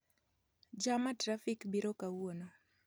Jam ma trafik biro kawuono